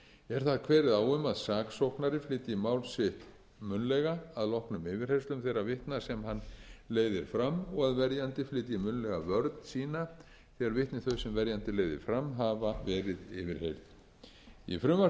er þar kveðið á um að saksóknari flytji mál sitt munnlega að loknum yfirheyrslum þeirra vitna sem hann leiðir fram og að verjandi flytji munnlega vörn einn þegar vitni þau sem verjandi leiðir fram hafa verið yfirheyrð í frumvarpi